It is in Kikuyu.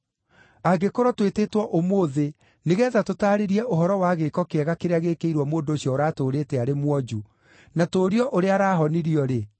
Angĩkorwo twĩtĩtwo ũmũthĩ nĩgeetha tũtaarĩrie ũhoro wa gĩĩko kĩega kĩrĩa gĩĩkĩirwo mũndũ ũcio ũratũũrĩte arĩ mwonju, na tũũrio ũrĩa arahonirio-rĩ,